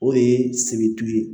O ye sebetu ye